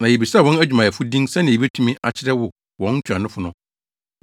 Na yebisaa wɔn adwumayɛfo din sɛnea yebetumi akyerɛ wo wɔn ntuanofo no.